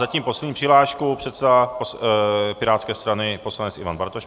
Zatím poslední přihláška - předseda pirátské strany poslanec Ivan Bartoš.